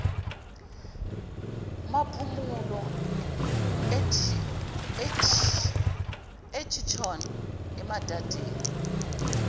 maphumulo eturton emadadeni